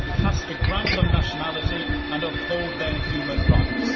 He has to grant them nationality and uphold their human rights.